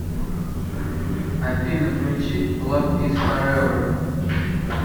афина включи лав из форевер